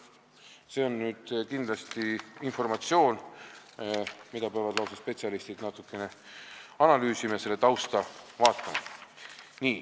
See on kindlasti informatsioon, mida peavad spetsialistid natukene analüüsima ja mille tausta vaatama.